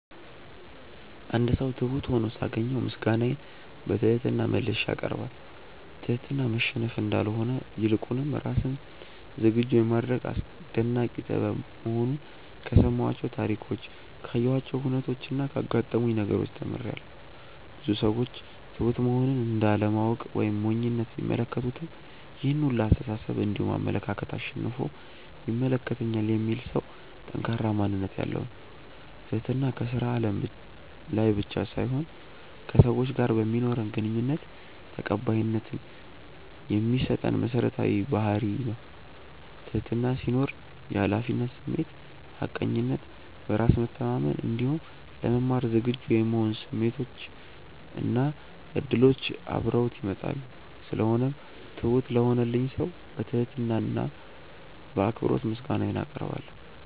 አንድ ሰው ትሁት ሁኖ ሳገኘው ምስጋናዬን በትህትና መልሼ አቀርባለሁ። ትህትና መሸነፍ እንዳልሆነ ይልቁንም ራስን ዝግጁ የማድረግ አስደናቂ ጥበብ መሆኑን ከሰማኋቸው ታሪኮች ካየኋቸው ሁነቾች እና ካጋጠሙኝ ነገሮች ተምሬያለው። ብዙ ሰዎች ትሁት መሆንን እንደ አለማወቅ ወይም ሞኝነት ቢመለከቱትም ይሄን ሁላ አስተሳሰብ እንዲሁም አመለካከት አሸንፎ ይመለከተኛል የሚል ሰው ጠንካራ ማንነት ያለው ነው። ትህትና ከስራ አለም ላይ ብቻ ሳይሆን ከሰዎች ጋር በማኖረን ግንኙነት ተቀባይነት የሚያሰጠን መሰረታዊ ባህርይ ነው። ትህትና ሲኖር የሀላፊነት ስሜት፣ ሀቀኝነት፣ በራስ መተማመን እንዲሁም ለመማር ዝግጁ የመሆን ስሜቶች እና እድሎች አብረውት ይመጣሉ። ስለሆነው ትሁት ለሆነልኝ ሰው በትህትና እና በአክብሮት ምስጋናዬን አቀርባለሁ።